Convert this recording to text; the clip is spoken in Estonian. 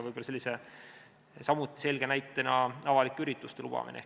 Võib-olla samuti selge näide on avalike ürituste lubamine.